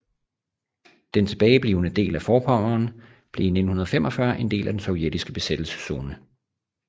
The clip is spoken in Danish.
Den tilbage blivende del af Vorpommern blev 1945 en del af den sovjetiske besættelszone